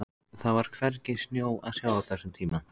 Það var hvergi snjó að sjá á þessum tíma.